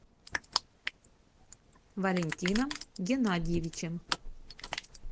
валентином геннадьевичем